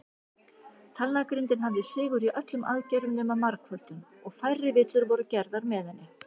Talnagrindin hafði sigur í öllum aðgerðum nema margföldun, og færri villur voru gerðar með henni.